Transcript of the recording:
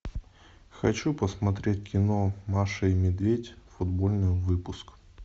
хочу посмотреть кино маша и медведь футбольный выпуск